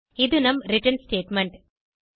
இது நம் return statement